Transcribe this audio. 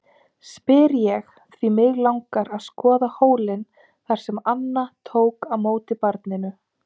spyr ég, því mig langar að skoða hólinn þar sem Anna tók á móti barninu.